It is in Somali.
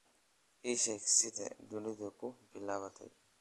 ii sheeg sida dunidu ku bilaabatay